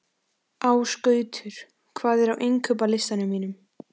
Ásgautur, hvað er á innkaupalistanum mínum?